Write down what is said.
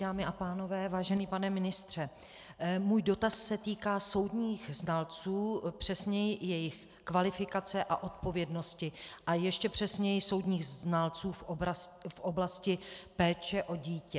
Dámy a pánové, vážený pane ministře, můj dotaz se týká soudních znalců, přesněji jejich kvalifikace a odpovědnosti, a ještě přesněji soudních znalců v oblasti péče o dítě.